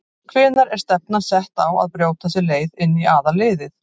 Hvenær er stefnan sett á að brjóta sér leið inn í aðalliðið?